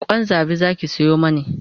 Kwan zabi Zaki Sayo mani